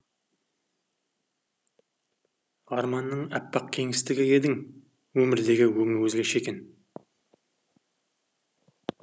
арманның әппақ кеңістігі едің өмірдегі өңі өзгеше